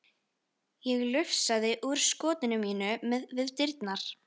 Ég lufsaðist úr skotinu mínu við dyrnar.